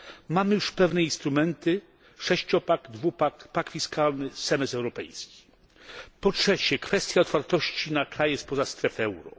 Mamy już pewne instrumenty sześciopak, dwupak, pakt fiskalny, semestr europejski. 3. Kwestia otwartości na kraje spoza strefy euro.